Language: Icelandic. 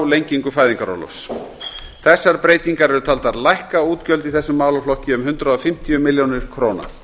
lengingu fæðingarorlofs þessar breytingar eru taldar lækka útgjöld í þessum málaflokki um hundrað og fimmtíu milljónir króna